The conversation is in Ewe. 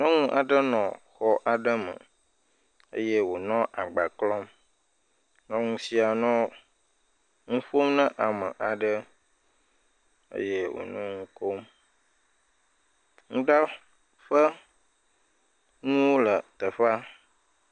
Nyɔnu aɖe nɔ xɔ aɖe me eye wònɔ agba klɔm. Nyɔnu sia nɔ nu ƒom na ame aɖe eye wònɔ nu kom, nuɖaƒe nuwo le teƒea.